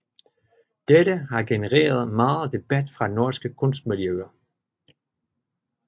Dette har genereret meget debat fra norske kunstmiljøer